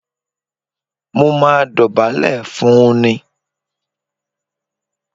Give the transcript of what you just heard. Mó máa dọ̀bálẹ̀ fún un ni